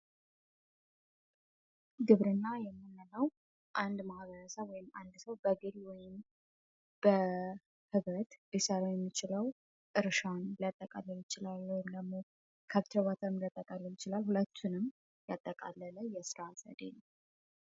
ግብርና የምንለው አንድ ማህበረሰብ ወይም አንድ ሰው በግሉ ሊሰራ የሚችለው እርሻ ከብት ማርባት ሊሆን ይችላል ሁለቱንም ያጠቃለለ የስራ ዘርፍ ነው።